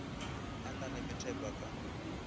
a na le methepa ka